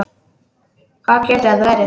Hvað getur þetta verið?